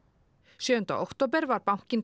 sjöunda október var bankinn